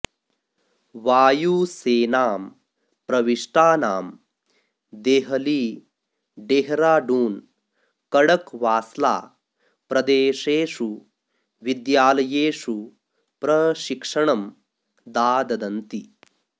वायुसेनां प्रविष्टानां देहली डेहराडून् कडकवास्ला प्रदेशेषु विद्यालयेषु प्रशिक्षणं दाददन्ति